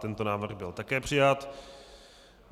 Tento návrh byl také přijat.